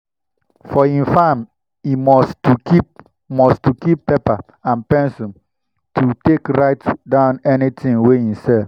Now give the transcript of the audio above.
for him farm e must to keep must to keep paper and pencil to take write down anything wey e sell.